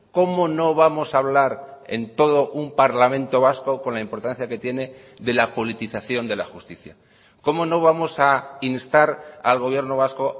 cómo no vamos a hablar en todo un parlamento vasco con la importancia que tiene de la politización de la justicia cómo no vamos a instar al gobierno vasco